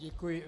Děkuji.